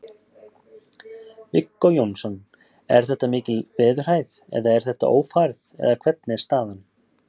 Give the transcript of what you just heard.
Viggó Jónsson: Er þetta mikil veðurhæð eða er þetta ófærð eða hvernig er staðan?